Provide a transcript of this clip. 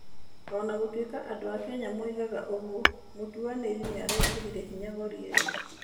O na gũtuĩka andũ a Kenya moigaga ũguo, mũtuanĩri nĩ arĩkĩrire hinya gori ĩyo.